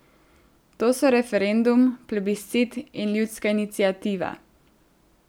To so referendum, plebiscit in ljudska iniciativa.